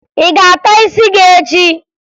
Ị ga-atọ isi gị echi?